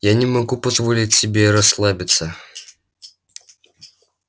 я не могу позволить себе расслабиться